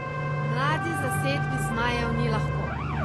Mladi zasedbi zmajev ni lahko.